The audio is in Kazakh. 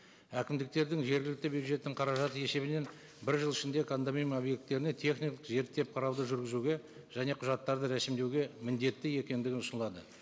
әкімдіктердің жергілікті бюджеттің қаражат есебінен бір жыл ішінде кондоминиум объекттеріне зерттеп қарауды жүргізуге және құжаттарды рәсімдеуге міндетті екендігі ұсынылады